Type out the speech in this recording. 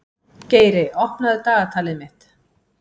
Geiri, opnaðu dagatalið mitt.